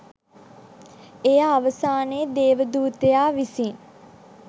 එය අවසානයේ දේවදූතයා විසින්